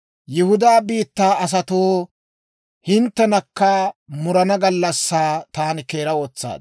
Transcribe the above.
«Yihudaa biittaa asatoo, hinttenakka murana gallassaa taani keera wotsaad.